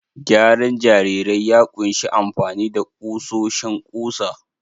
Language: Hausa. Gyaran jarirai ya ƙunshi amfani da ƙusoshin ƙusa